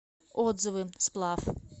отзывы сплав